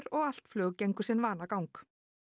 og allt flug gengur sinn vanagang